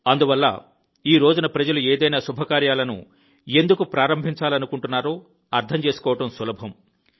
అందువల్ల ఈ రోజున ప్రజలు ఏదైనా శుభకార్యాలను ఎందుకు ప్రారంభించాలనుకుంటున్నారో అర్థం చేసుకోవడం సులభం